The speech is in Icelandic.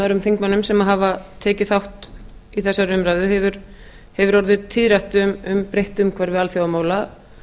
öðrum þingmönnum sem hafa tekið þátt í þessari umræðu hefur orðið tíðrætt um breytt umhverfi alþjóðamála